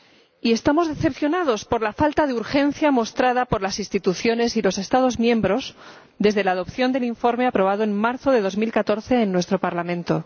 Y estamos decepcionados por la falta de urgencia mostrada por las instituciones y los Estados miembros desde la adopción del informe aprobado en marzo de 2014 en nuestro Parlamento.